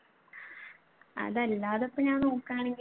അതല്ലാതെ ഇപ്പൊ ഞാൻ നോക്കുകയാണെങ്കിൽ